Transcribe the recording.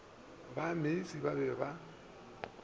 ba meisie ba be ba